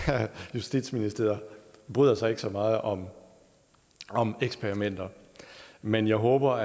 justitsministeriet bryder sig ikke så meget om om eksperimenter men jeg håber